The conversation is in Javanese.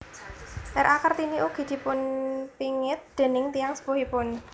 R A Kartini ugi dipunpingit déning tiyang sepuhipun